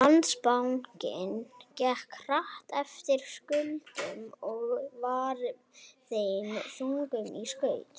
Landsbankinn gekk hart eftir skuldum og var þeim þungur í skauti.